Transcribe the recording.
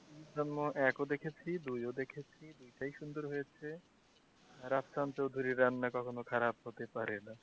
অন্দরমহল এক ও দেখেছি দুই ও দেখেছি দুইটাই সুন্দর হয়েছে চৌধুরীর রান্না কখনো খারাপ হতে পারে?